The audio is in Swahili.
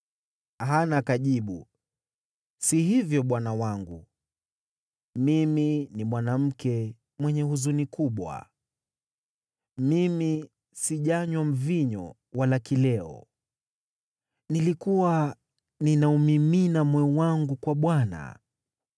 Hana akajibu, “Si hivyo bwana wangu, mimi ni mwanamke mwenye huzuni kubwa. Mimi sijanywa mvinyo wala kileo, nilikuwa ninaumimina moyo wangu kwa Bwana .